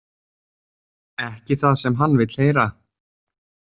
Ekki það sem hann vill heyra.